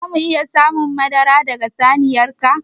Za mu iya samun madara daga saniyar ka?